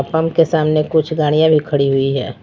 Pump के सामने कुछ गाड़ियां भी खड़ी हुई है।